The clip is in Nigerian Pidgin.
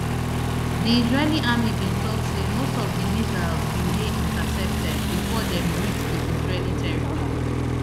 di israeli army bin tok say most of di missiles bin dey intercepted bifor dem reach di israeli territory